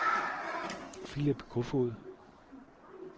Philip Kofoed